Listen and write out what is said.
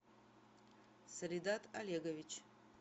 салидат олегович